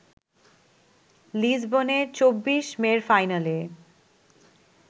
লিসবনে ২৪ মের ফাইনালে